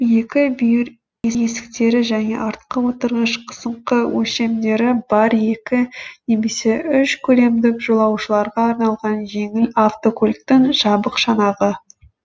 екі бүйір есіктері және артқы отырғыш қысыңқы өлшемдері бар екі немесе үш көлемдік жолаушыларға арналған жеңіл автокөліктің жабық шанағы